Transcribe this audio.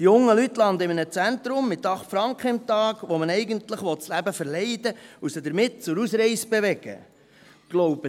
Die jungen Leute landen in einem Zentrum mit 8 Franken am Tag, mit denen man ihnen eigentlich das Leben verleiden und sie damit zur Ausreise bewegen will.